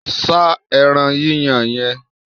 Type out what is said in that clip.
Sá ẹran yíyan yẹn!